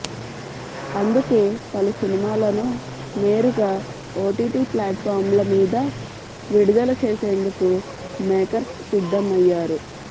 అందుకే పలు సినిమాలను నేరుగా ఓటీటీ ప్లాట్ఫామ్ల మీద విడుదల చేసేందుకు మేకర్స్ సిద్దం అయ్యారు